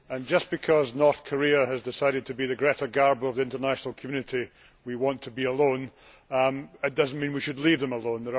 Just because North Korea has decided to be the Greta Garbo of the international community we want to be alone' it does not mean we should leave them alone.